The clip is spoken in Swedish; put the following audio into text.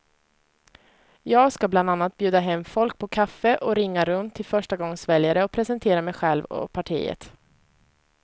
Jag ska bland annat bjuda hem folk på kaffe och ringa runt till förstagångsväljare och presentera mig själv och partiet.